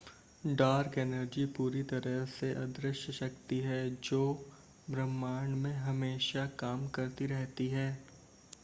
dark energy पूरी तरह से अदृश्य शक्ति है जो ब्रह्मांड में हमेशा काम करती रहती है